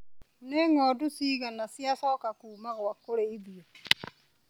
Nĩ ngondu cigana ciacoka kuma gwa kũrĩithia.